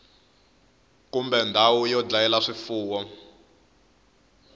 kumbe ndhawu yo dlayela swifuwo